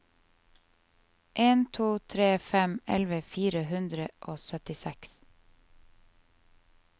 en to tre fem elleve fire hundre og syttiseks